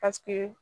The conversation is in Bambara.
Paseke